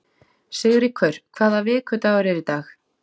Sigríkur, hvaða vikudagur er í dag?